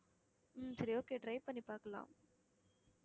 உம் சரி okay try பண்ணிப் பார்க்கலாம்